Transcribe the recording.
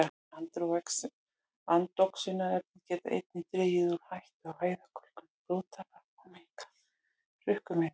Andoxunarefni geta einnig dregið úr hættu á æðakölkun og blóðtappa og minnkað hrukkumyndun.